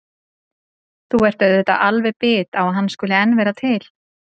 Þú ert auðvitað alveg bit á að hann skuli enn vera til.